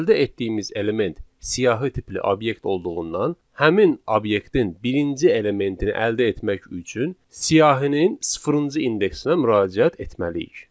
Əldə etdiyimiz element siyahı tipli obyekt olduğundan həmin obyektin birinci elementini əldə etmək üçün siyahının sıfırıncı indeksinə müraciət etməliyik.